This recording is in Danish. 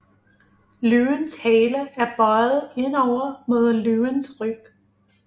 Løvens Hale er bøiet indover mod Løvens Ryg